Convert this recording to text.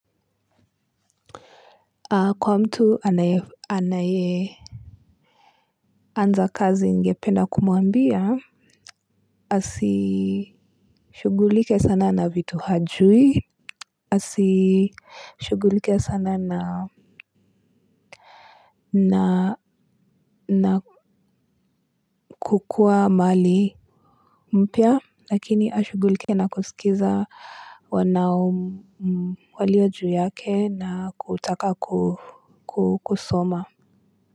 Kwa mtu anaye anaye anza kazi ningependa kumwambia. Asishughulike sana na vitu hajui. Asishughulike sana na na na kukuwa mali mpya lakini ashughulike na kusikiliza waliojuu yake na kutaka kusoma.